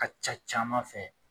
Ka ca caman fɛ